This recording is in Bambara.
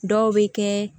Dɔw bɛ kɛ